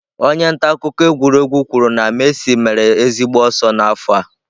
Onye nta akụkọ egwuregwu kwuru na Messi mere ezigbo ọsọ n'afọ a